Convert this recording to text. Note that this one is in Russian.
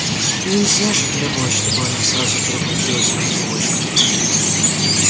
нельзя же требовать чтобы она сразу превратилась в ангелочка